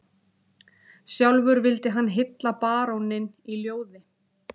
Sjálfur vildi hann hylla baróninn í ljóði